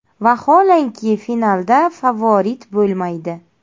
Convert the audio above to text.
Vaholanki finalda favorit bo‘lmaydi.